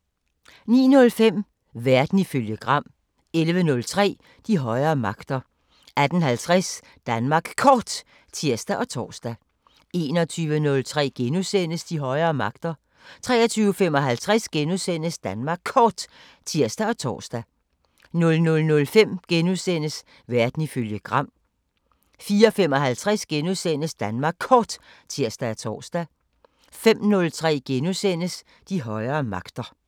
09:05: Verden ifølge Gram 11:03: De højere magter 18:50: Danmark Kort (tir og tor) 21:03: De højere magter * 23:55: Danmark Kort *(tir og tor) 00:05: Verden ifølge Gram * 04:55: Danmark Kort *(tir og tor) 05:03: De højere magter *